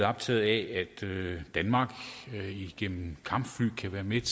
optaget af at danmark igennem kampfly kan være med